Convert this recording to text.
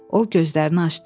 O gözlərini açdı.